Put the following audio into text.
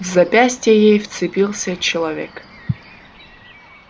в запястье ей вцепился человек